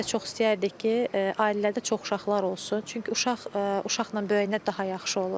Bizə çox istəyərdik ki, ailələrdə çox uşaqlar olsun, çünki uşaq uşaqla böyüyəndə daha yaxşı olur.